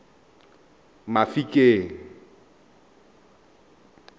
mafikeng